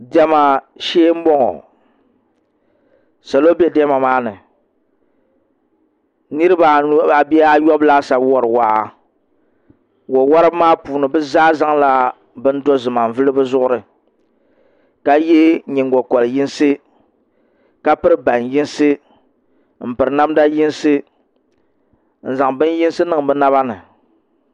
Diɛma shee n bɔŋɔ salo bɛ diɛma maa ni niraba anu bee ayobu laasabu wori waa wo woribi maa puuni bi zaa zaŋla bini dozima n vuli bi zuɣuri ka yɛ nyingokori yinsi ka piri ban yinsi n zaŋ bini yinsi niŋ bi naba ni